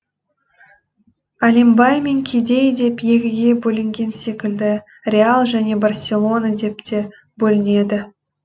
әлем бай мен кедей деп екіге бөлінген секілді реал және барселона деп те бөлінеді